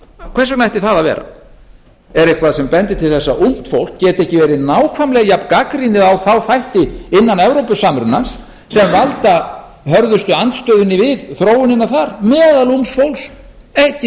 vegna ætti það að vera er eitthvað sem bendir til þess að ungt fólk geti ekki verið nákvæmlega jafngagnrýnið á þá þætti innan evrópusamruna sem valda hörðustu andstöðunni við þróunina þar meðal ungs fólks ekki